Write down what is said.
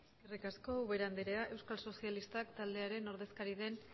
eskerrik asko ubera andrea euskal sozialistak taldearen ordezkaria den